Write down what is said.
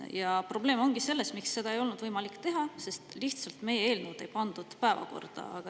Kuid probleem – ja põhjus, miks seda ei olnud võimalik teha – ongi selles, et meie eelnõu lihtsalt ei pandud päevakorda.